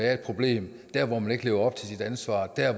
er et problem der hvor man ikke lever op til sit ansvar der